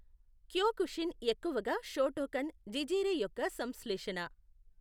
Kyokushin ఎక్కువగా Shotokan, జిజె రై యొక్క సంశ్లేషణ.